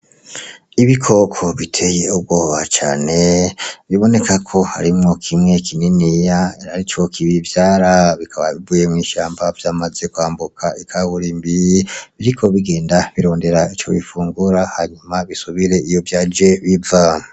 Ibikoko biteye ubwoba cane, biboneka ko harimwo kimwe kininiya arico kibivyara, bikaba bivuye mw'ishamba vyamaze kwambuka ikaburimbi biriko bigenda birondera Ico bifungura hanyuma bisubire iyo vyaje biva.